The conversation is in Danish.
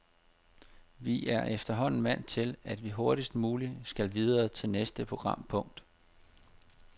Vi er efterhånden vant til, at vi hurtigst muligt skal videre til næste programpunkt.